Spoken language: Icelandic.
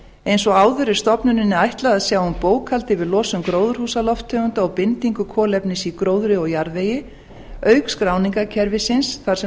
eins og áður er stofnuninni ætlað að sjá um bókhald yfir losun gróðurhúsalofttegunda og bindingu kolefnis í gróðri og jarðvegi auk skráningarkerfisins þar sem